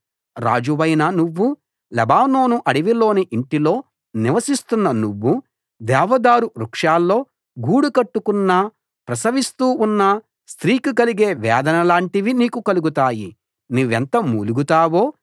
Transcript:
రాజువైన నువ్వు లెబానోను అడవిలోని ఇంటిలో నివసిస్తున్న నువ్వు దేవదారు వృక్షాల్లో గూడు కట్టుకున్నా ప్రసవిస్తూ ఉన్న స్త్రీకి కలిగే వేదనల్లాటివి నీకు కలుగుతాయి నువ్వెంత మూలుగుతావో